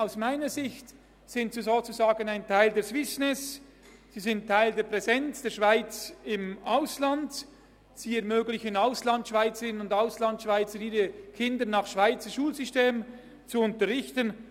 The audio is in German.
Aus meiner Sicht sind Schweizerschulen sozusagen ein Teil der Swissness, sie sind Teil der Präsenz der Schweiz im Ausland, sie ermöglichen es Auslandschweizerinnen und Auslandschweizern, ihre Kinder nach Schweizer Schulsystem zu unterrichten.